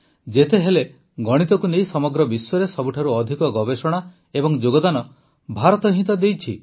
ଯେତେହେଲେ ଗଣିତକୁ ନେଇ ସମଗ୍ର ବିଶ୍ୱରେ ସବୁଠାରୁ ଅଧିକ ଗବେଷଣା ଓ ଯୋଗଦାନ ଭାରତ ହିଁ ତ ଦେଇଛି